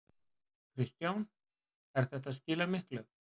Kristján: Er þetta að skila miklu?